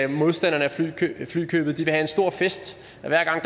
modstanderne af flykøbet have en stor fest hver gang